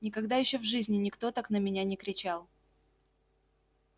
никогда ещё в жизни никто так на меня не кричал